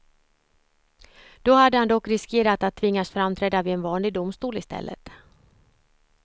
Då hade han dock riskerat att tvingas framträda vid en vanlig domstol istället.